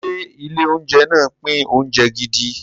Ṣé ilé-oúnjẹ náà pín oúnjẹ gidi?